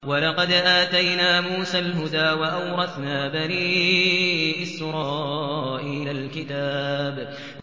وَلَقَدْ آتَيْنَا مُوسَى الْهُدَىٰ وَأَوْرَثْنَا بَنِي إِسْرَائِيلَ الْكِتَابَ